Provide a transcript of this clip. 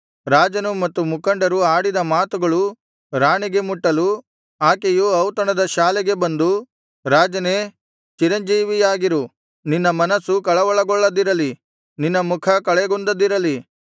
ರಾಜನು ಮತ್ತು ಮುಖಂಡರು ಆಡಿದ ಮಾತುಗಳು ರಾಣಿಗೆ ಮುಟ್ಟಲು ಆಕೆಯು ಔತಣದ ಶಾಲೆಗೆ ಬಂದು ರಾಜನೇ ಚಿರಂಜೀವಿಯಾಗಿರು ನಿನ್ನ ಮನಸ್ಸು ಕಳವಳಗೊಳ್ಳದಿರಲಿ ನಿನ್ನ ಮುಖ ಕಳೆಗುಂದದಿರಲಿ